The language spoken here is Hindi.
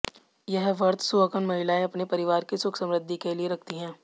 यह व्रत सुहागन महिलाएं अपने परिवार की सुख समृद्वि के लिए रखती हैं